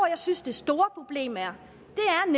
jeg synes det store problem er er